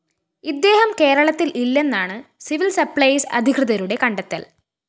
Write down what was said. ഇദ്ദേഹം കേരളത്തില്‍ ഇല്ലെന്നാണ് സിവില്‍സപ്ലൈസ് അധികൃതരുടെ കണ്ടെത്തല്‍